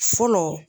Fɔlɔ